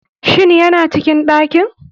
Shin yana cikin ɗakin.